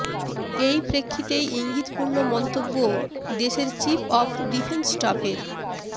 এই প্রেক্ষিতেই ইঙ্গিতপূর্ণ মন্তব্য দেশের চিফ অফ ডিফেন্স স্টাফের